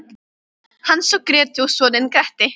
Hans og Grétu og soninn Gretti.